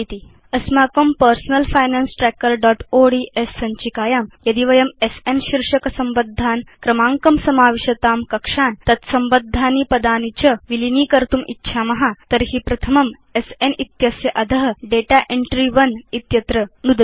अस्माकं personal finance trackerओड्स् सञ्चिकायां यदि वयं स्न शीर्षक संबद्धान् क्रमाङ्कं समाविशतां कक्षान् तद् संबद्धानि पदानि च विलीनीकर्तुम् इच्छाम तर्हि प्रथमं स्न इत्यस्य अध दाता एन्ट्री 1 इत्यत्र नुदतु